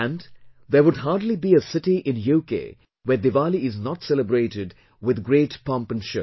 And, there would hardly be a city in UK where Diwali is not celebrated with a great pomp and show